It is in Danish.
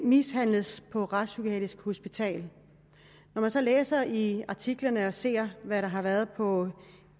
mishandles på et retspsykiatrisk hospital når man så læser i artiklerne og ser hvad der har været på